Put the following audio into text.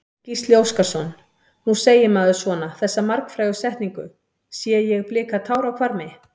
Gísli Óskarsson: Nú segir maður svona, þessa margfrægu setningu, sé ég blika tár á hvarmi?